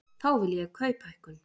Þá vil ég kauphækkun.